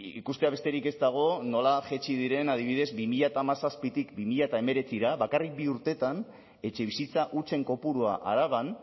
ikustea besterik ez dago nola jaitsi diren adibidez bi mila hamazazpitik bi mila hemeretzira bakarrik bi urteetan etxebizitza hutsen kopurua araban